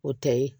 O tɛ ye